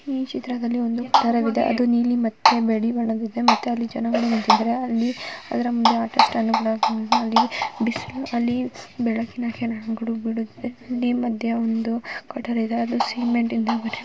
ಈ ಚಿತ್ರದಲ್ಲಿ ಒಂದು ಚಿತ್ರ ಇದೆ ಅದು ನೀಲಿ ಮತ್ತು ಬಿಳಿ ಬಣ್ಣದಿಂದ ಮತ್ತೆ ಜನಗಳು ನಿಂತಿದ್ದಾರೆ ಹಲ್ಲಿ ಹದರ ಮುಂದೆ ಆಟೋ ಸ್ಟ್ಯಾಂಡ್ ಕೂಡ ಅಲ್ಲಿ ಬಿಸಿಲು ಅಲ್ಲಿ ಬೆಳಕಿನ ಕಿರಣಗಳು ಬಿಡುತ್ತಿದೆ ಮಧ್ಯ ಒಂದು ಕಟ್ಟಡ ಇದೆ ಅದು ಸಿಮೆಂಟ್ನಿಂದ--